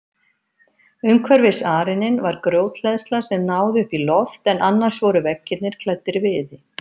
Umhverfis arininn var grjóthleðsla sem náði upp í loft en annars voru veggirnir klæddir viði.